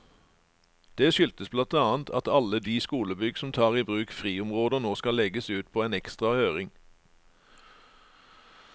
Det skyldes blant annet at alle de skolebygg som tar i bruk friområder nå skal legges ut på en ekstra høring.